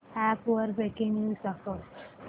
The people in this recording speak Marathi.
अॅप वर ब्रेकिंग न्यूज दाखव